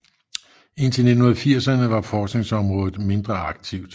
Indtil 1980erne var forskningsområdet mindre aktivt